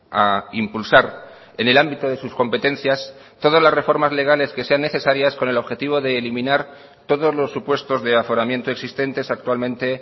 a impulsar en el ámbito de sus competencias todas las reformas legales que sean necesarias con el objetivo de eliminar todos los supuestos de aforamiento existentes actualmente